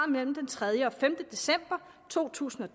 mellem den tredje og femte december to tusind og